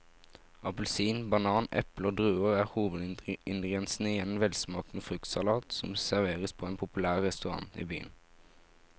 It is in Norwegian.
Appelsin, banan, eple og druer er hovedingredienser i en velsmakende fruktsalat som serveres på en populær restaurant i byen.